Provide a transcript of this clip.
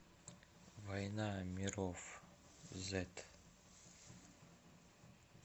война миров зет